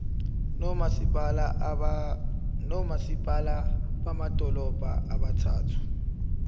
nomasipala bamadolobha abathathu